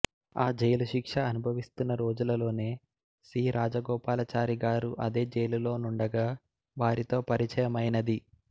ఆ జైలు శిక్ష అనుభనిస్తున్న రోజులలోనే సి రాజగోపాలాచారి గారు అదే జైలు లోనుండగా వారితో పరిచయమైనది